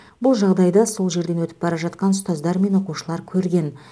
бұл жағдайды сол жерден өтіп бара жатқан ұстаздар мен оқушылар көрген